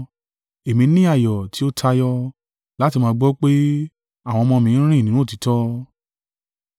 Èmi ni ayọ̀ tí ó tayọ, láti máa gbọ́ pé, àwọn ọmọ mi ń rìn nínú òtítọ́.